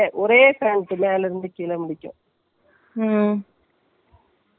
ஆனால் இது நமக்கு set ஆகுமான்னு சொல்லிட்டு, நம்ம வேற try பண்ணிட்டு normal shirt தைச்சிட்டேன்.